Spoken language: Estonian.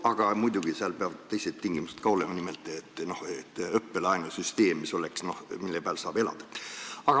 Aga seal peaks muidugi teised tingimused ka täidetud olema, nimelt õppelaenusüsteem, mille abil saab elada.